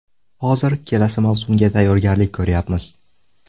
Hozir kelasi mavsumga tayyorgarlik ko‘ryapmiz.